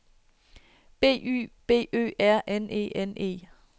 B Y B Ø R N E N E